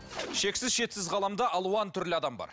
шексіз шетсіз ғаламда алуан түрлі адам бар